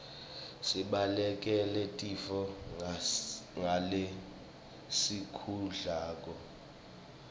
sibalekele tifo ngalesikudlako